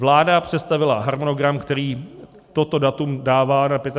Vláda představila harmonogram, který toto datum dává na 25. května.